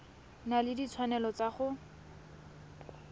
na le ditshwanelo tsa go